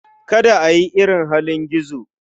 Kada ka yi irin halin gizo.